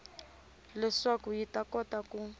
leswaku yi ta kota ku